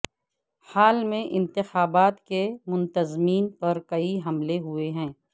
حال میں انتخابات کے منتظمین پر کئی حملے ہوئے ہیں